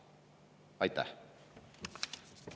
Aitäh!